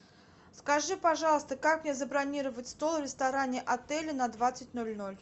скажи пожалуйста как мне забронировать стол в ресторане отеля на двадцать ноль ноль